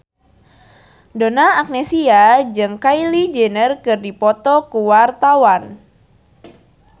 Donna Agnesia jeung Kylie Jenner keur dipoto ku wartawan